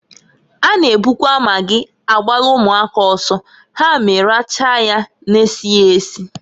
A na ebukwa magị agbalụ ụmụaka ọsọ ha eme rachaa nya na-esighi esi.